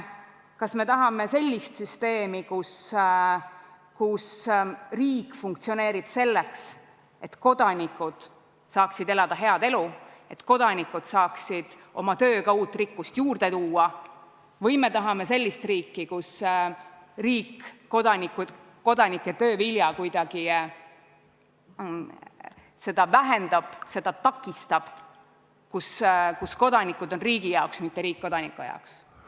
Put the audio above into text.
Kas me tahame sellist süsteemi, kus riik funktsioneerib selleks, et kodanikud saaksid elada head elu, et kodanikud saaksid oma tööga uut rikkust juurde luua, või me tahame sellist riiki, kus riik kodanike töö vilja kuidagi vähendab, selle loomist takistab, kus kodanikud on riigi jaoks, mitte riik kodanike jaoks?